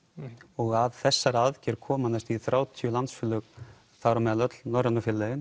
og að þessari aðgerð koma næstum því þrjátíu landsfélög þar á meðal öll Norrænu félögin